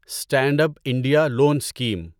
stand up India loan scheme